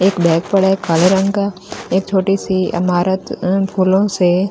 एक बैग पड़ा है काले रंग का एक छोटी सी अमारत अम्म फूलों से --